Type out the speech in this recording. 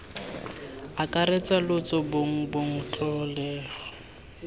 akaretsa lotso bong bong tlholego